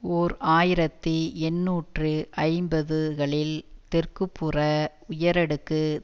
ஓர் ஆயிரத்தி எண்ணூற்று ஐம்பது களில் தெற்குப்புற உயரடுக்கு